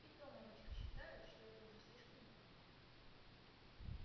и то мамочка считает что это уже слишком много